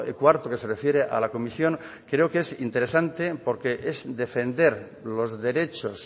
cuarto que se refiere a la comisión creo que es interesante porque es defender los derechos